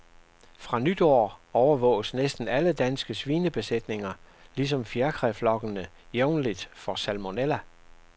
Fra nytår overvåges næsten alle danske svinebesætninger, ligesom fjerkræflokkene, jævnligt for salmonella.